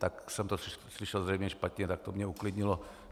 Tak jsem to slyšel zřejmě špatně, tak to mě uklidnilo.